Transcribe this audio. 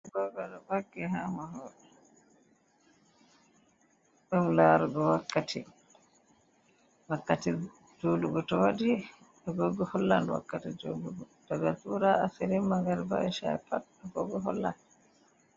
Agogo ɗon :akki ha mahol. Ɗum larugo wakkati. Wakkati, wakkati julugo to waɗi, agogo hollan wakkati jolugo. Ɗaga Zura, Asirin, Magariɓa, esha'i, pat agogo hollan.